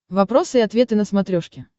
вопросы и ответы на смотрешке